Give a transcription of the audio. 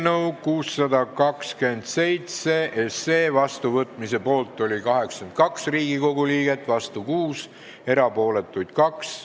Hääletustulemused Eelnõu 627 seadusena vastuvõtmise poolt oli 82 Riigikogu liiget, vastu oli 6, erapooletuks jäi 2.